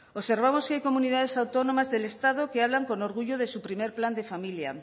observamos que hay comunidades autónomas del estado que hablan con orgullo de su primer plan de familia